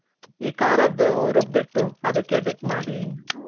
ಈ ಕಾರದ್ದು ರುಬ್ಬಿಟ್ಟು ಅದಕ್ಕೆ dip ಮಾಡಿ